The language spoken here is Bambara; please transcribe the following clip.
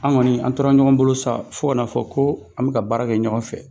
Anw kɔni an tora ɲɔgɔn bolo sa fo ka n'a fɔ ko an bɛ ka baara kɛ ɲɔgɔn fɛ